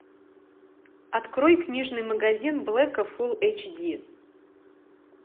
открой книжный магазин блэка фул эйч ди